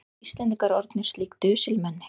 Erum við Íslendingar orðnir slík dusilmenni?